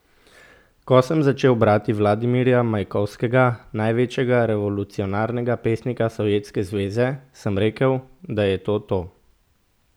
Ko sem začel brati Vladimirja Majakovskega, največjega revolucionarnega pesnika Sovjetske zveze, sem rekel, da je to to.